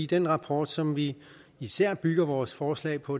den rapport som vi især bygger vores forslag på